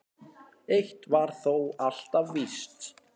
Eitt var þó alltaf víst.